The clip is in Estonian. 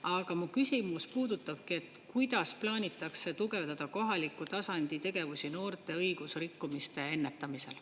Aga mu küsimus puudutabki, et kuidas plaanitakse tugevdada kohaliku tasandi tegevusi noorte õigusrikkumiste ennetamisel.